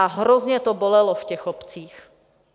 A hrozně to bolelo v těch obcích.